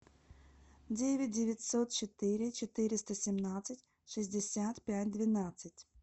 девять девятьсот четыре четыреста семнадцать шестьдесят пять двенадцать